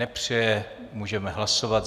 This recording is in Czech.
Nepřeje, můžeme hlasovat.